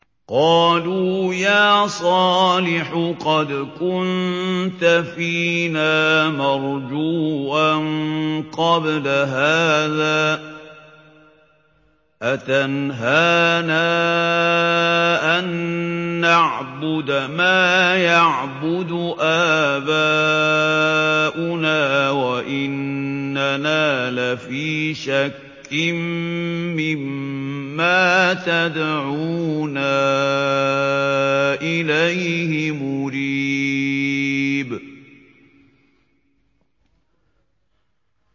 قَالُوا يَا صَالِحُ قَدْ كُنتَ فِينَا مَرْجُوًّا قَبْلَ هَٰذَا ۖ أَتَنْهَانَا أَن نَّعْبُدَ مَا يَعْبُدُ آبَاؤُنَا وَإِنَّنَا لَفِي شَكٍّ مِّمَّا تَدْعُونَا إِلَيْهِ مُرِيبٍ